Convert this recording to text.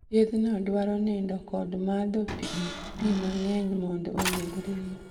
Thiedhno dwaro nindo kod madho gik pi mang'eny mondo ogeng' riyo